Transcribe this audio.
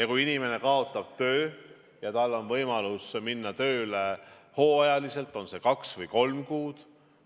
Kui inimene kaotab töö, siis on tal võimalus minna tööle hooajaliselt, on see siis kaks või kolm kuud.